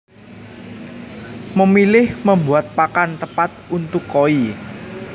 Memilih Membuat Pakan Tepat untuk Koi